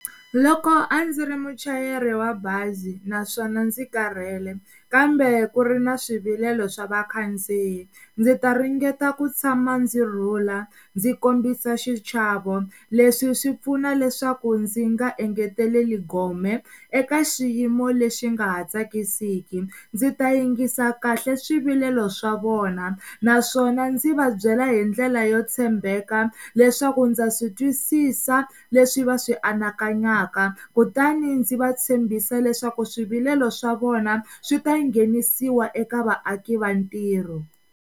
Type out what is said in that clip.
Loko a ndzi ri muchayeri wa bazi naswona ndzi karhele kambe ku ri na swivilelo swa vakhandziyi ndzi ta ringeta ku tshama ndzi rhula ndzi kombisa xichavo leswi swi pfuna leswaku ndzi nga engeteleli gome eka xiyimo lexi nga ha tsakisiki ndzi ta yingisa kahle swivilelo swa vona naswona ndzi va byela hi ndlela yo tshembeka leswaku ndza swi twisisa leswi va swi anakanyaka kutani ndzi va tshembisa leswaku swivilelo swa vona swi ta nghenisiwa eka vaaki va ntirho.